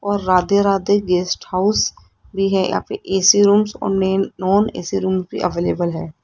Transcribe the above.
और Radhe Radhe guest house भी है यहां पे ए_सी रूम और नेन नॉन ए_सी रूम भी अवेलेबल है।